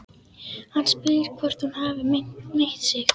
Hann spyr hvort hún hafi meitt sig.